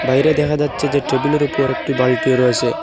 বাইরে দেখা যাচ্ছে যে টেবিলের ওপর একটি বালটি রয়েসে ।